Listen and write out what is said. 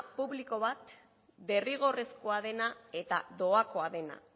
publiko bat derrigorrezkoa dena eta doakoa dena